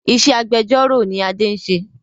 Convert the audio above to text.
Ìṣe agbẹjọ́ró ni Adé ń ṣe